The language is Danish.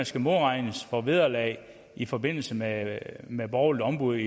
skal modregnes for vederlag i forbindelse med med borgerligt ombud